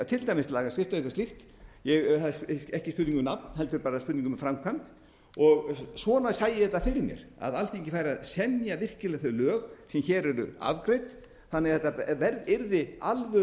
lagasetningin til dæmis lagasetning eða eitthvað slíkt það er ekki spurning um nafn heldur bara spurning um framkvæmd og svona lægi þetta fyrir mér að alþingi væri virkilega að semja þau lög sem hér eru afgreidd þannig að